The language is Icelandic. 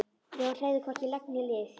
Jón hreyfði hvorki legg né lið.